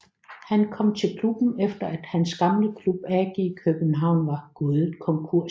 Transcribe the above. Han kom til klubben efter at hans gamle klub AG København var gået konkurs